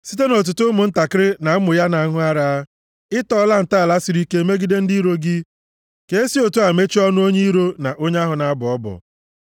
Site nʼotuto + 8:2 \+xt Mat 21:16\+xt* ụmụntakịrị na ụmụ na-aṅụ ara, ị tọọla ntọala siri ike megide ndị iro gị, ka e si otu a mechie ọnụ onye iro na onye ahụ na-abọ ọbọ.